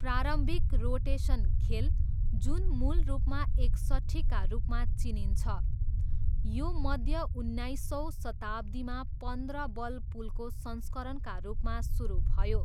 प्रारम्भिक रोटेसन खेल, जुन मूल रूपमा एकसट्ठीका रूपमा चिनिन्छ, यो मध्य उन्नाइसौँ शताब्दीमा पन्ध्र बल पुलको संस्करणका रूपमा सुरु भयो।